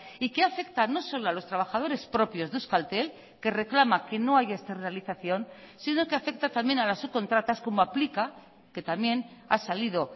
y que afecta no solo a los trabajadores propios de euskaltel que reclama que no hay esta realización sino que afecta también a las subcontratas como aplica que también ha salido